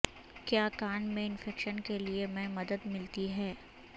کیا کان میں انفیکشن کے لئے میں مدد ملتی ہے